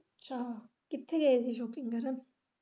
ਅੱਛਾ ਕਿੱਥੇ ਗਏ ਸੀ shopping ਕਰਨ?